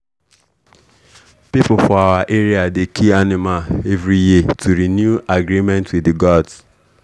people for our area dey kill animal every year to renew agreement with the gods.